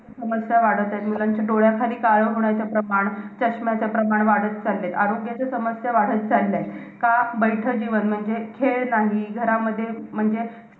आहार रस वृद्धीचा परिणाम वृद्ध वर होऊन प्रध्ये क्लेश होते . आहार रसाचे पचन नीट न झाल्यास अशा वेळेस प्रध्या अवस्था हे लक्षण उत्पन्न होते.